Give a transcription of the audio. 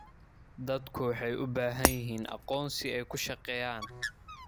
Dadku waxay u baahan yihiin aqoonsi ay ku shaqeeyaan.